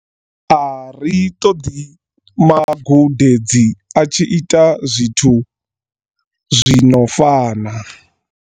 A ri ṱoḓi magudedzi a tshi ita zwithu zwi no fana.